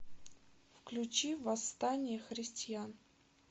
включи восстание христиан